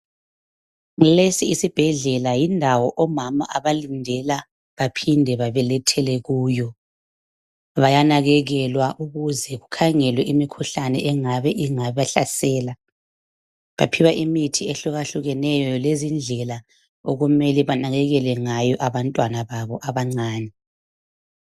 Lesi isibhedlela yindawo omama abalindela baphinde babelethele kuyo bayanakekelwa kukhangelwe imkhuhlane engabe ibahlasela baphiwa imithi ehluka hlukeneyo lendlela okumele benakekele ngayo abantwana babo abancani